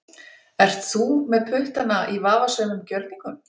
Ert þú með puttana í vafasömum gjörningum?